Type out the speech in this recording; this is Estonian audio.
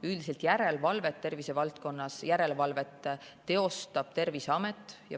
Üldiselt järelevalvet tervisevaldkonnas teostab Terviseamet.